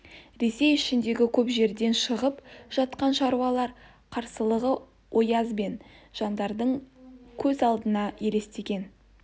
ресей ішіндегі көп жерден шығып жатқан шаруалар қарсылығы ояз бен жандаралдың көз алдына елестеген